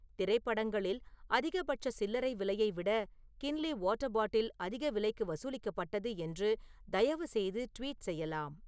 திரைப்படங்களில் அதிகபட்ச சில்லறை விலையை விட கின்லி வாட்டர் பாட்டில் அதிக விலைக்கு வசூலிக்கப்பட்டது என்று தயவுசெய்து ட்வீட் செய்யலாம்